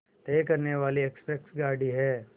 तय करने वाली एक्सप्रेस गाड़ी है